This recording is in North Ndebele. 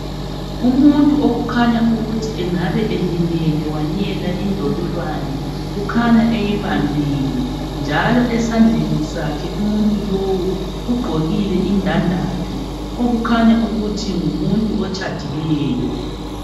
Umuntu okhanya ukuthi angabe elimele wanyela indololwane ukhanya eyibambile njalo esandleni sakhe umuntu lowo ugqokile indandatho okukhanya ukuthi ngumuntu otshadileyo.